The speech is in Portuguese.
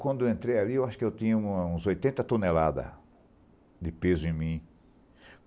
Quando eu entrei ali, eu acho que eu tinha um uns oitenta toneladas de peso em mim.